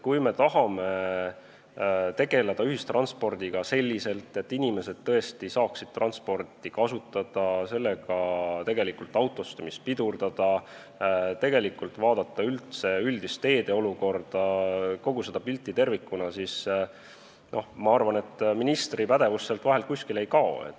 Kui me tahame tegeleda ühistranspordiga selliselt, et inimesed tõesti saaksid seda kasutada, ja sellega autostumist pidurdada, vaadata üldist teede olukorda ja kogu pilti tervikuna, siis ma arvan, et ministri pädevus sealt vahelt kuskile ei kao.